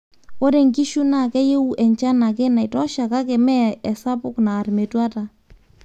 ore nkishu naa keyieu enchan ake naitosha kake mee esapuk naar metuata